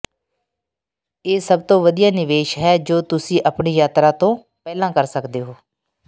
ਇਹ ਸਭ ਤੋਂ ਵਧੀਆ ਨਿਵੇਸ਼ ਹੈ ਜੋ ਤੁਸੀਂ ਆਪਣੀ ਯਾਤਰਾ ਤੋਂ ਪਹਿਲਾਂ ਕਰ ਸਕਦੇ ਹੋ